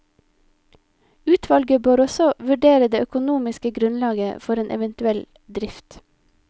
Utvalget bør også vurdere det økonomiske grunnlaget for en eventuell drift.